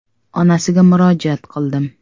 Onasiga murojaat qildim.